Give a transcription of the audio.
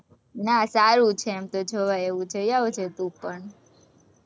ના, સારું છે એમ તો, જવાય એવું છે, જઈ આવજે તું પણ